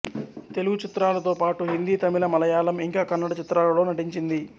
తెలుగు చిత్రాలతో పాటు హిందీ తమిళ మలయాళం ఇంకా కన్నడ చిత్రాలలో నటించింది